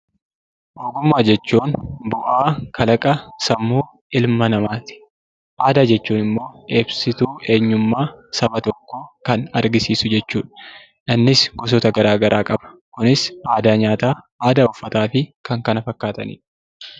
Ogummaa jechuun bu'aa kalaqa sammuu ilma namaati. Aadaa jechuun immoo ibsituu eenyummaa saba tokkoo kan argisiisu jechuu dha. Innis gosoota garaagaraa qaba: kunis aadaa nyaataa, aadaa uffataa fi kan kana fakkaatani dha.